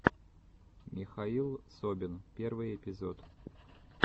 михаил собин первый эпизод